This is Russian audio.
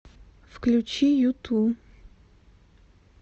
включи юту